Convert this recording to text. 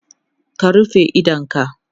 ka rufe idonka!